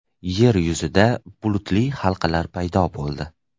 Yer yuzida bulutli halqalar paydo bo‘ldi .